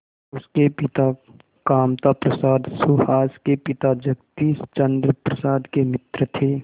उसके पिता कामता प्रसाद सुहास के पिता जगदीश चंद्र प्रसाद के मित्र थे